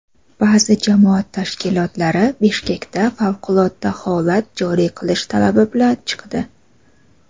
Ba’zi jamoat tashkilotlari Bishkekda favqulodda holat joriy qilish talabi bilan chiqdi.